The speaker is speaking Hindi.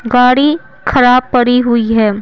गाड़ी खराब पड़ी हुई है।